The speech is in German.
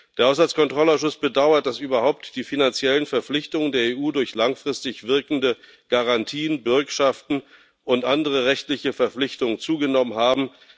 Der Haushaltskontrollausschuss bedauert, dass überhaupt die finanziellen Verpflichtungen der EU durch langfristig wirkende Garantien, Bürgschaften und andere rechtliche Verpflichtungen zugenommen haben.